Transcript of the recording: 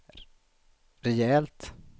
rejält